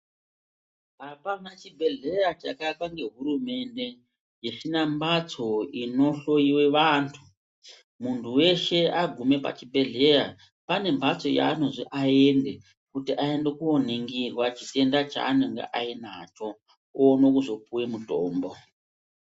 Hapana chibhedhleya chakaakwa ngehurumende isina mhatso inohloiwa antu. Muntu veshe agume pachibhedhleya pane mbatso yaanozi aende kuti aende koningirwa chitenda chanenge ainacho oone kuzopuva mutombo.